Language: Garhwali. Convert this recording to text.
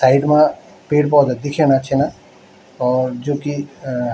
साइड मा पेड़-पौधा दिखेणा छिन और जू की अ --